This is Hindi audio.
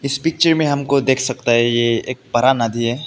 इस पिक्चर में हमको देख सकता है यह एक बड़ा नदी है।